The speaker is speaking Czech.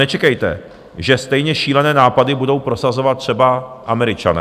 Nečekejte, že stejně šílené nápady budou prosazovat třeba Američané.